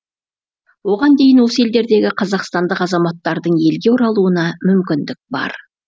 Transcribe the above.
оған дейін осы елдердегі қазақстандық азаматтардың елге оралуына мүмкіндік бар